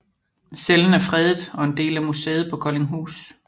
Cellen er fredet og er en del af museet på Koldinghus